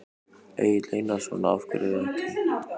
Egill Einarsson: Af hverju ekki?